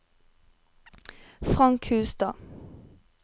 Frank Hustad